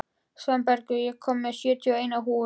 Svanbergur, ég kom með sjötíu og eina húfur!